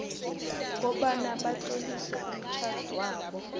kobana batlolise umtjhadwabo